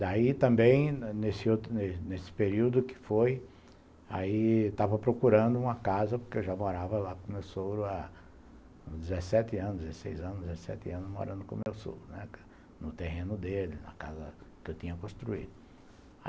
Daí também, nesse outro nesse período que foi, eu estava procurando uma casa, porque eu já morava lá com o meu sogro há dezessete anos, dezesseis anos, dezessete anos morando com o meu sogro, né, no terreno dele, na casa que eu tinha construído.